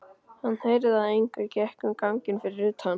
Hann heyrði að einhver gekk um ganginn fyrir utan.